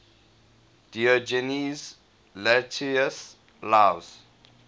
diogenes laertius's lives